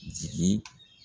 Jigi